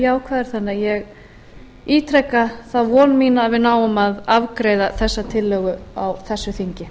jákvæðar þannig að ég ítreka þá von mína að við náum að afgreiða þessa tillögu á þessu þingi